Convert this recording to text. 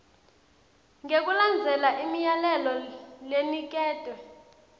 ngekulandzela imiyalelo leniketwe